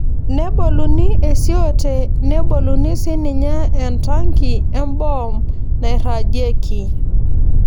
Neboluni esioote neboluni sii ninye entanki emboom neirrajieki.